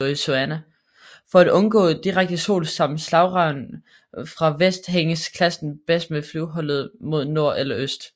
For at undgå direkte sol samt slagregn fra vest hænges kassen bedst med flyvehullet vendt mod nord eller øst